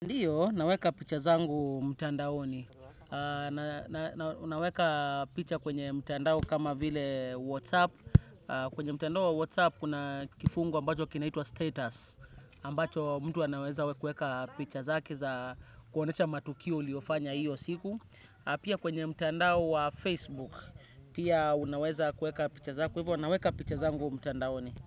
Ndiyo, naweka picha zangu mtandaoni. Unaweka picha kwenye mtandao kama vile WhatsApp. Kwenye mtandao wa WhatsApp kuna kifungu ambacho kinaitwa status. Ambacho mtu anaweza kueka picha zake za kuonesha matukio uliofanya hiyo siku. Pia kwenye mtandao wa Facebook. Pia unaweza kueka picha zako. Kwa hivyo naweka picha zangu mtandaoni.